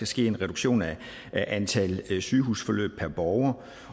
ske en reduktion af antal sygehusforløb per borger